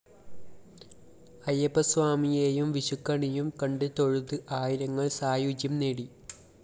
അയ്യപ്പസ്വാമിയേയും വിഷുക്കണിയും കണ്ട് തൊഴുത് ആയിരങ്ങള്‍ സായൂജ്യം നേടി